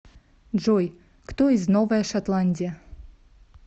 джой кто из новая шотландия